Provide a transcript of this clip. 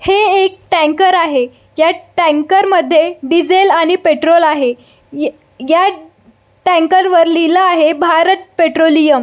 हे एक टँकर आहे ह्या टँकर मध्ये डिझेल आणि पेट्रोल आहे ह्या टँकर वर लिहल आहे भारत पेट्रोलियम .